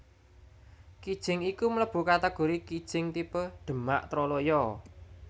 Kijing iku mlebu kategori kijing tipe Demak Troloyo